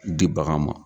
Di bagan ma